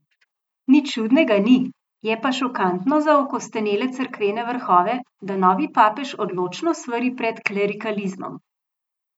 Nič čudnega ni, je pa šokantno za okostenele cerkvene vrhove, da novi papež odločno svari pred klerikalizmom.